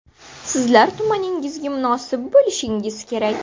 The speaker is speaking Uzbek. Sizlar tumaningizga munosib bo‘lishingiz kerak.